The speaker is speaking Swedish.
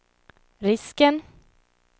risken